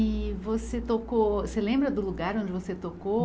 E você tocou. Você lembra do lugar onde você tocou?